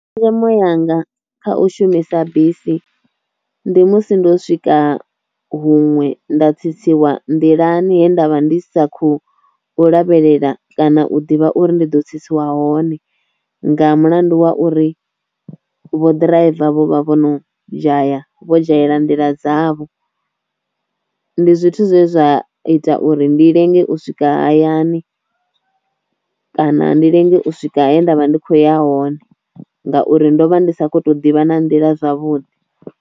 Tshenzhemo yanga kha u shumisa bisi ndi musi ndo swika huṅwe nda tsitsiwa nḓilani he ndavha ndi sa khou lavhelela kana u ḓivha uri ndi ḓo tsitsiwa hone nga mulandu wa uri vho ḓiraiva vho vha vho no dzhaya vho dzhayela nḓila dzavho, ndi zwithu zwe zwa ita uri ndi lenge u swika hayani kana ndi lenge u swika he ndavha ndi kho ya hone ngauri ndo vha ndi sa kho to ḓivha na nḓila zwavhuḓi.